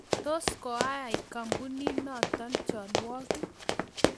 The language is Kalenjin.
Tos koai kampunit notok chalwok?